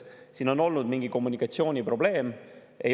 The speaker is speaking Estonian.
" Siin on olnud mingi kommunikatsiooniprobleem.